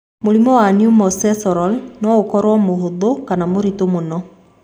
Mũrimũ wa pneumococcal no okoro mũhũthu kana mũritũ mũno.